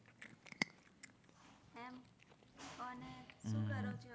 શું કરો છો?